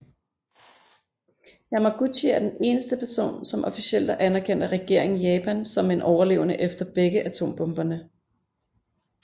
Yamaguchi er den eneste person som officielt er anerkendt af regeringen i Japan som en overlevende efter begge atombomberne